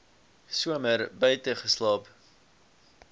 somer buite geslaap